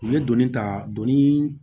U ye donni ta donni